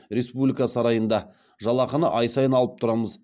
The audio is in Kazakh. республика сарайында жалақыны ай сайын алып тұрамыз